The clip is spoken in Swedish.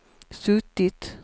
suttit